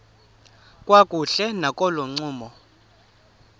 kakuhle nakolo ncumo